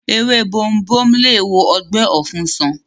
Ewé bomubomu lè wo ọgbẹ́ ọ̀fun sàn